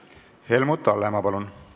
Helmut Hallemaa, palun!